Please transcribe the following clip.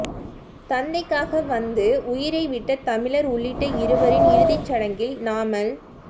தந்தைக்காக வந்து உயிரை விட்ட தமிழர் உள்ளிட்ட இருவரின் இறுதிச் சடங்கில் நாமல்